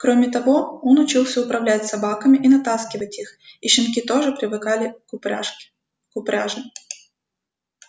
кроме того он учился управлять собаками и натаскивать их и щенки тоже привыкали к упряжке к упряжи